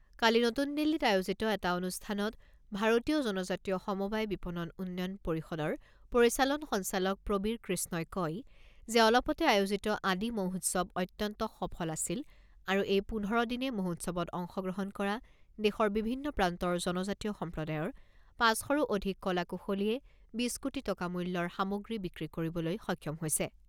কালি নতুন দিল্লীত আয়োজিত এটা অনুষ্ঠানত ভাৰতীয় জনজাতীয় সমবায় বিপণন উন্নয়ন পৰিষদৰ পৰিচালন সঞ্চালক প্ৰবীৰ কৃষ্ণই কয় যে অলপতে আয়োজিত আদি মহোৎসৱ অত্যন্ত সফল আছিল আৰু এই পোন্ধৰ দিনে মহোৎসৱত অংশগ্ৰহণ কৰা দেশৰ বিভিন্ন প্ৰান্তৰ জনজাতিয় সম্প্ৰদায়ৰ পাঁচ শৰো অধিক কলা কুশলীয়ে বিছ কোটি টকা মূল্যৰ সামগ্ৰী বিক্ৰী কৰিবলৈ সক্ষম হৈছে।